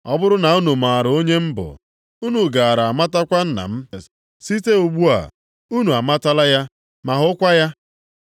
Ọ bụrụ na unu maara onye m bụ, unu gaara amatakwa Nna m. Site ugbu a, unu amatala ya. Ma hụkwa ya.”